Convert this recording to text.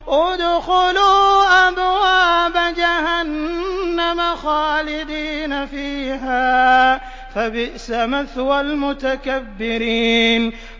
ادْخُلُوا أَبْوَابَ جَهَنَّمَ خَالِدِينَ فِيهَا ۖ فَبِئْسَ مَثْوَى الْمُتَكَبِّرِينَ